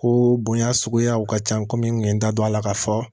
Ko bonya suguyaw ka ca komi n kun ye n da don a la k'a fɔ